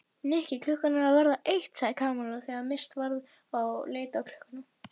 Nikki, klukkan er að verða eitt sagði Kamilla þegar minnst varði og leit á klukkuna.